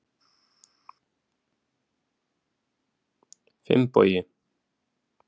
Finnbogi